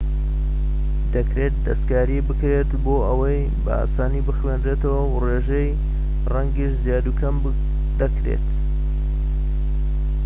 دەکرێت دەستکاری بکرێت بۆ ئەوەی بە ئاسانی بخوێنرێتەوە و ڕێژەی ڕەنگیش زیاد و کەم دەکرێت